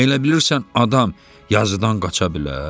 Elə bilirsən adam yazıdan qaça bilər?